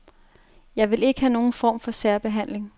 Jeg vil ikke have nogen form for særbehandling.